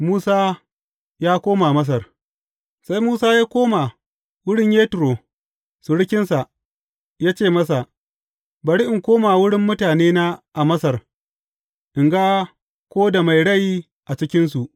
Musa ya koma Masar Sai Musa ya koma wurin Yetro surukinsa, ya ce masa, Bari in koma wurin mutanena a Masar, in ga ko da mai rai a cikinsu.